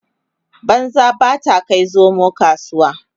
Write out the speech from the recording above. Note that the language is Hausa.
banza ba ta Kai zomo kasuwa